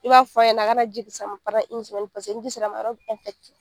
I b'a fɔ a ɲana a ka na ji se a ma sama paseke ni ji se la ma, a yɔrɔ be